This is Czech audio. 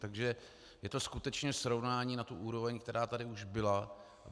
Takže je to skutečně srovnání na tu úroveň, která tady už byla.